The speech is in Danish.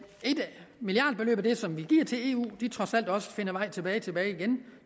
milliardbeløb ud af det som vi giver til eu trods alt også finder vej tilbage tilbage igen